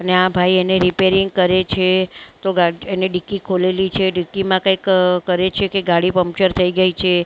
અને આ ભાઈ એને રીપેરીંગ કરે છે તો ગા એને ડિક્કી ખોલેલી છે ડિક્કીમાં કઈ કરે છે કે ગાડી પંક્ચર થઇ ગઈ છે--